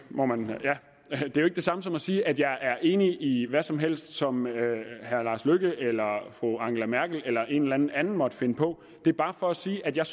samme som at sige at jeg er enig i hvad som helst som herre lars løkke fru angela merkel eller en eller anden anden måtte finde på det er bare for at sige at jeg